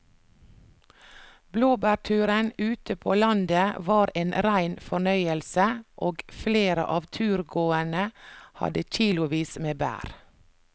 Blåbærturen ute på landet var en rein fornøyelse og flere av turgåerene hadde kilosvis med bær.